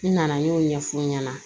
N nana n y'o ɲɛf'u ɲɛna